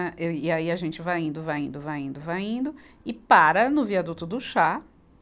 Eu e aí a gente vai indo, vai indo, vai indo, vai indo, e para no viaduto do Chá.